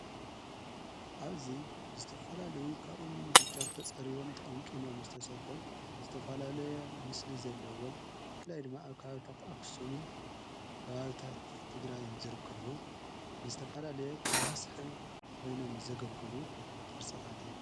ኣብዙይ ዝተፋላለይ ካእምንቢጫት ተጸሪቦም ተቐንቅሞም ዝተሠርሑ ዝተፋላለየ ምስሊ ዘለዎም ፍላይ ድመኣብ ክሃዊታት ኣክሳምን ክባርታት ትግራይንዝርከዉ ንስተፋላለየ ኸብ መስሐ ኮይኖም ዘገልግሉ ቕርጸታት እዮም።